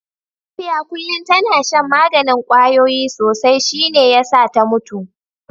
Safiya kullum tana shan maganin kwayoyi sosai shi ne ya sa ta mutu